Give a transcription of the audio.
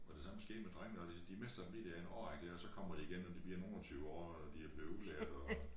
Og det samme skete med drengene og det de mister dem lige der en årrække dér og så kommer de igen når de bliver nogen og 20 år og de er blevet udlært og